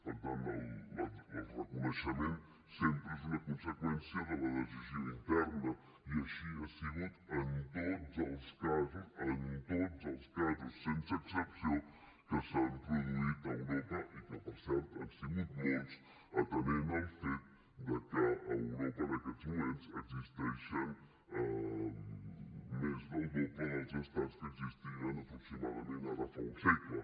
per tant el reconeixement sempre és una conseqüència de la decisió interna i així ha sigut en tots els casos en tots els casos sense excepció que s’han produït a europa que per cert han sigut molts atenent al fet que a europa en aquests moments existeixen més del doble dels estats que existien aproximadament ara fa un segle